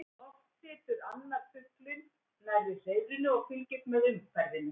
Oft situr annar fuglinn nærri hreiðrinu og fylgist með umhverfinu.